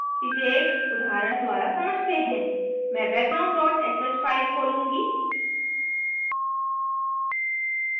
इसे एक उदाहरण द्वारा समझते हैं मैं background dot sh फाइल खोलूँगी